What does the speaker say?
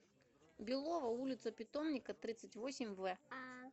белово улица питомника тридцать восемь в